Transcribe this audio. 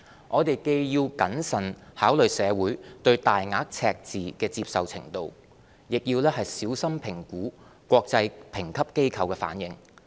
我們既要謹慎考慮社會對大額赤字的接受程度，亦要小心評估國際評級機構的反應。